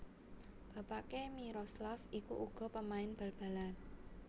Bapakné Miroslav iku uga pamain bal balan